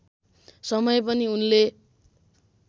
समय पनि उनले